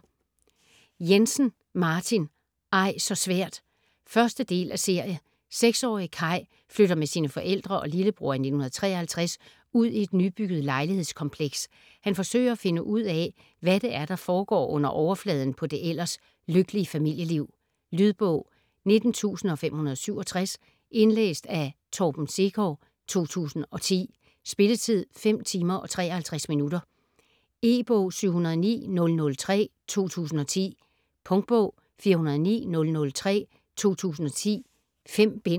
Jensen, Martin: Ej så svært 1. del af serie. 6-årige Kaj flytter med sine forældre og lillebror i 1953 ud i et nybygget lejlighedskompleks. Han forsøger at finde ud af, hvad det er, der foregår under overfladen på det ellers lykkelige familieliv. Lydbog 19567 Indlæst af Torben Sekov, 2010. Spilletid: 5 timer, 53 minutter. E-bog 709003 2010. Punktbog 409003 2010. 5 bind.